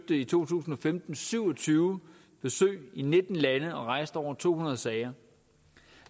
i to tusind og femten syv og tyve besøg i nitten lande og rejste over to hundrede sager